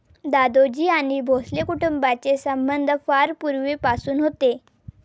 दादोजी आणि भोसले कुटुंबांचे संबंध फार पूर्वीपासून होते.